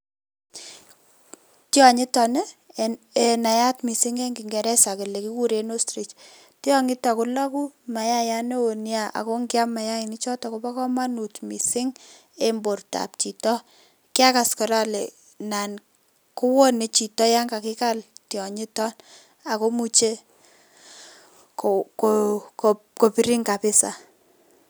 Tionyiton en neyat mising en kingereza kelee kikuren ostrich tionyiton kolokuu mayayat newoo neaa ako ngiam mayaini choton kobokomonut mising en bortab chito, kiakaas koraa olee naan kowone chito yoon kakikal tionyiton akomuche kobirin kabisaa.